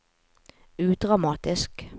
udramatisk